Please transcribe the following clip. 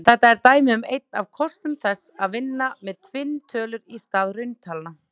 Þetta er dæmi um einn af kostum þess að vinna með tvinntölur í stað rauntalna.